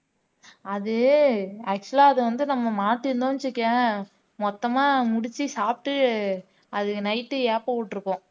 அது actual ஆ அத வந்து நம்ம மாத்தி இருந்தோம்ன்னு வச்சுக்கயேன் மொத்தமா முடிச்சு சாப்பிட்டு அது night ஏப்பம் விட்டுருக்கும்